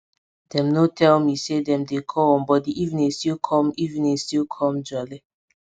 dem nor tell me say dem dey come but di evening still com evening still com jolly